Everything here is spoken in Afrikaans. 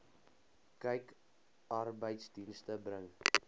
kyk arbeidsdienste bring